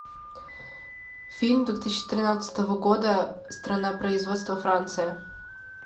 фильм две тысячи тринадцатого года страна производства франция